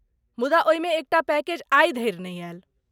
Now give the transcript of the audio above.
मुदा ओहिमे एकटा पैकेजआइ धरि नहि आयल।